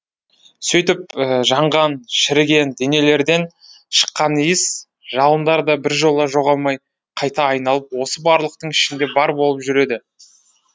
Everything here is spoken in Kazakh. сөйтіп жанған шіріген денелерден шыққан иіс жалындар да біржола жоғалмай қайта айналып осы барлықтың ішінде бар болып жүреді